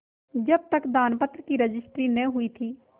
जब तक दानपत्र की रजिस्ट्री न हुई थी